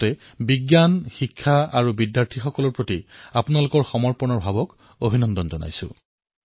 লগতে বিজ্ঞান শিক্ষা আৰু শিক্ষাৰ্থীসকলৰ প্ৰতি আপোনালোকৰ সমৰ্পণ মনোভাৱক অভিনন্দন জনাইছোঁ